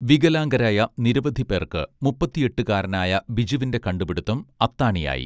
വികലാംഗരായ നിരവധി പേർക്ക്‌ മുപ്പത്തെട്ടുകാരനായ ബിജുവിന്റെ കണ്ടുപിടുത്തം അത്താണിയായി